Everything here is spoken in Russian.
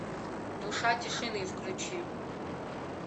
душа тишины включи